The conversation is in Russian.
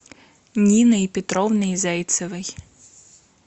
ниной петровной зайцевой